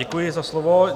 Děkuji za slovo.